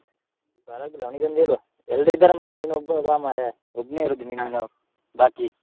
ಪರ್ವಾಗಿಲ್ಲ ಅವನಿಗೊಂದು ಹೇಳ್ವ, ಎಲ್ಲ್ರೂ ಇದ್ದರೆ ಮಾರ್ರೆ ನೀನೊಬ್ಬ ಬಾ ಮಾರ್ರೆ , ಒಬ್ನೆ ಇರುದು , ಬಾಕಿ.